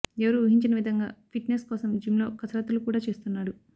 ఎవరు ఊహించని విధంగా ఫిట్ నెస్ కోసం జిమ్ లో కసరత్తులు కూడా చేస్తున్నాడు